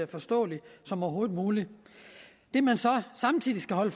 forståelig som overhovedet muligt det man så samtidig skal holde